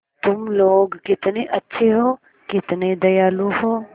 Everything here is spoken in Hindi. तुम लोग कितने अच्छे हो कितने दयालु हो